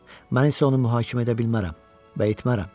Mən isə onu mühakimə edə bilmərəm və etmərəm.